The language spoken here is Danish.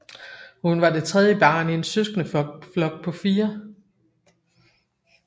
Hun var det tredje barn i en søskendeflok på fire